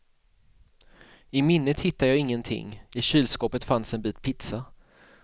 I minnet hittade jag ingenting, i kylskåpet fanns en bit pizza.